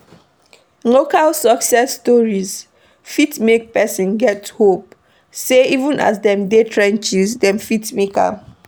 Local success stories fit make person get hope sey even as dem dey trenches dem fit make am